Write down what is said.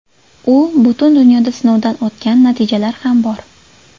U butun dunyoda sinovdan o‘tgan, natijalar ham bor.